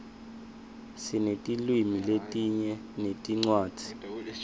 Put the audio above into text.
sinetilwimi letinyenti netincwadzi